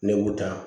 Ne y'u ta